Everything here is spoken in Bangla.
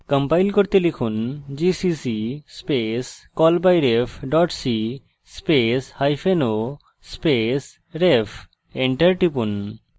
compile করতে লিখুন gcc space callbyref dot c space hyphen o space ref enter টিপুন